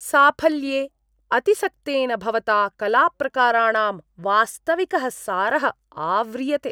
साफल्ये अतिसक्तेन भवता कलाप्रकाराणां वास्तविकः सारः आव्रियते।